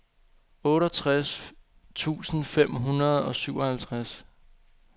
otteogtres tusind fem hundrede og syvoghalvtreds